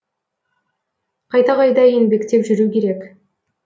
қайта қайта еңбектеп жүру керек